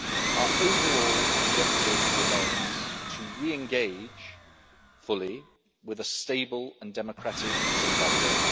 Our overall objective remains to re engage fully with a stable and democratic Zimbabwe.